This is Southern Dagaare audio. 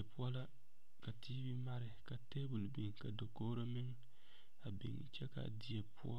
Die poɔ la ka tv mare ka table biŋ ka dakogro meŋ a biŋ kyɛ ka a die poɔ